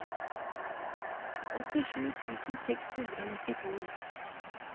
åttisju tusen seks hundre og nittito